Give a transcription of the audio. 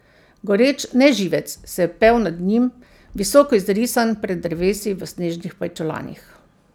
Goreč neživec se je pel nad njim, visoko izrisan pred drevesi v snežnih pajčolanih.